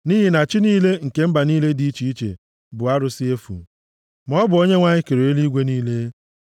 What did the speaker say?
Nʼihi na chi niile nke mba niile dị iche iche bụ arụsị efu, maọbụ Onyenwe anyị kere eluigwe niile.